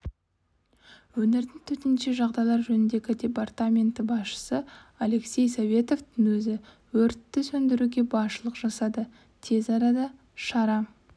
өңірдің төтенше жағдайлар жөніндегі департаменті басшысы алексей советовтың өзі өртті сөндіруге басшылық жасады тез арада шара